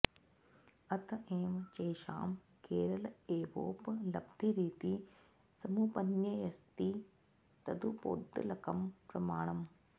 अत एव चैषां केरल एवोपलब्धिरिति समुपन्यस्यति तदुपोद्बलकं प्रमाणम्